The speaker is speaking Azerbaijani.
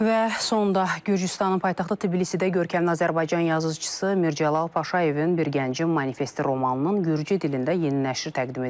Və sonda Gürcüstanın paytaxtı Tbilisidə görkəmli Azərbaycan yazıçısı Mircəlal Paşayevin "Bir gəncin manifesti" romanının Gürcü dilində yeni nəşri təqdim edilib.